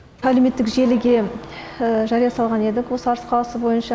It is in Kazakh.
әлеуметтік желіге жария салған едік осы арыс қаласы бойынша